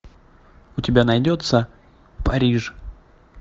у тебя найдется париж